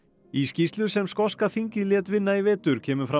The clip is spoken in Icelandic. í skýrslu sem skoska þingið lét vinna í vetur kemur fram